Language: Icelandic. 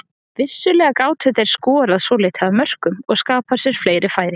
Vissulega gátu þeir skorað svolítið af mörkum og skapað sér fleiri færi.